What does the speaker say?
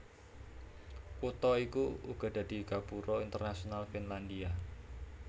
Kutha iki uga dadi gapura internasional Finlandia